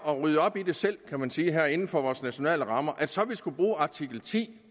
at rydde op i det selv kan man sige her inden for vores nationale rammer og så skulle bruge artikel ti